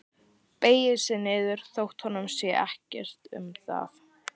Beygir sig niður þótt honum sé ekkert um það.